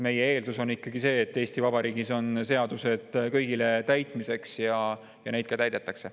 Meie eeldus on ikkagi see, et Eesti Vabariigis on seadused kõigile täitmiseks ja neid ka täidetakse.